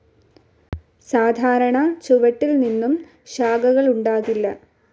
സാധാരണ ചുവട്ടിൽ നിന്നും ശാഖകളുണ്ടാകില്ല.